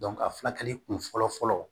a furakɛli kun fɔlɔ fɔlɔ